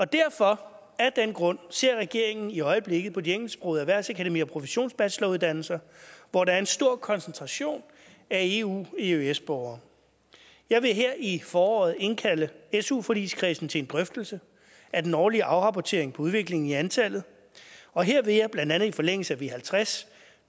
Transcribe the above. derfor af den grund ser regeringen i øjeblikket på de engelsksprogede erhvervsakademier og professionsbacheloruddannelser hvor der er en stor koncentration af eu eøs borgere jeg vil her i foråret indkalde su forligskredsen til en drøftelse af den årlige afrapportering om udviklingen i antallet og her vil jeg blandt andet i forlængelse af v halvtreds